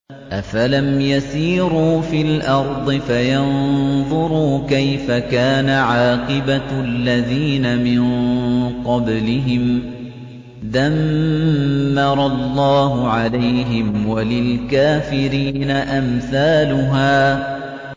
۞ أَفَلَمْ يَسِيرُوا فِي الْأَرْضِ فَيَنظُرُوا كَيْفَ كَانَ عَاقِبَةُ الَّذِينَ مِن قَبْلِهِمْ ۚ دَمَّرَ اللَّهُ عَلَيْهِمْ ۖ وَلِلْكَافِرِينَ أَمْثَالُهَا